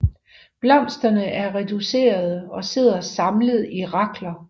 Blomsterne er reducerede og sidder samlet i rakler